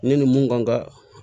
Ne ni mun kan ka